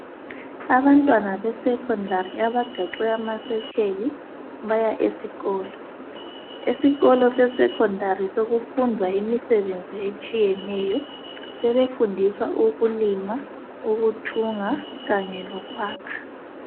Abantwana bescondary abagaxe amasetsheli baya esikolo. Esikolo sesecondari sekufundwa imisebenzi etshiyeneyo. Sebefundiswa ukulima, ukuthunga kanye lokwakha.